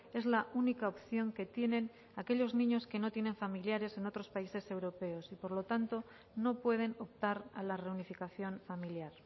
es la única opción que tienen aquellos niños que no tienen familiares en otros países europeos y por lo tanto no pueden optar a la reunificación familiar